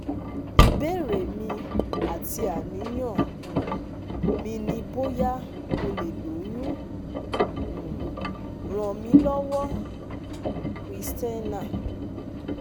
ìbéèrè mi àti àníyàn um mi ni bóyá mo lè lóyún? um ràn mí lọ́wọ́! christina